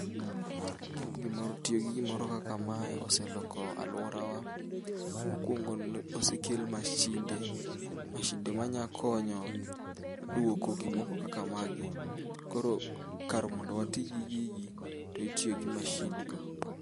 Gi gimoro tiyo gi gimoro kaka mae oseloko aluorawa. Mukuongo osekel mashinde. Mashinde manyakonyo duoko gimoko kaka magi koro kar mondo wati gigi to itiyo gi mashindgo.